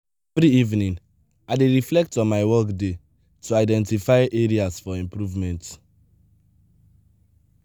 every evening i dey reflect on my workday to identify areas for improvement.